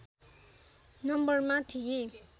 नम्बरमा थिए